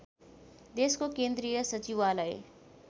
देशको केन्द्रीय सचिवालय